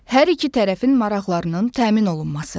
Hər iki tərəfin maraqlarının təmin olunması.